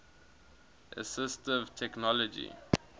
assistive technology